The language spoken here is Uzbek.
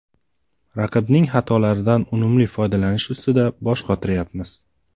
Raqibning xatolaridan unumli foydalanish ustida bosh qotiryapmiz.